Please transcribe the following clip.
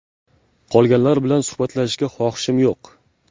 Qolganlar bilan suhbatlashishga xohishim yo‘q.